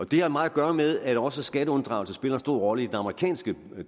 det har meget at gøre med at også skatteunddragelse spiller en stor rolle i den amerikanske